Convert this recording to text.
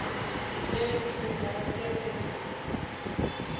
ge o sa rate go